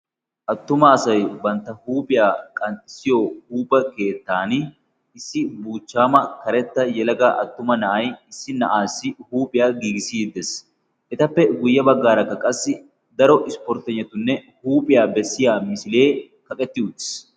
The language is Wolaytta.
Attuma asay bantta huuphiyaa qanxxissiyo huupha keettan issi buuchchaama karetta yelaga attuma na'ai issi na'aassi huuphiyaa giigisiiddees etappe guyye baggaarakka qassi daro ispporttegnatunne huuphiyaa bessiya misilee kaqetti utiis.